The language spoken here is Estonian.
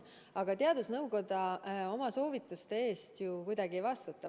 Aga teadusnõukoda oma soovituste eest kuidagi ei vastuta.